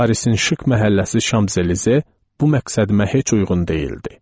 Parisin şıq məhəlləsi Şamzelize bu məqsədimə heç uyğun deyildi.